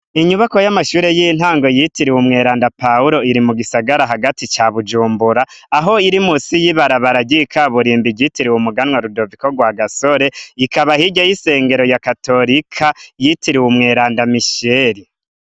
Inyubakwa y'amashure y'intango yitiriwe "umweranda Pawuro" iri mu gisagara hagati ca Bujumbura, aho iri musi y'ibarabara ry'ikaburimbo ryitiriwe "umuganwa rudoviko RWAGASORE", ikaba hirya y'isengero ya katorika yitiriwe "umweranda misheri".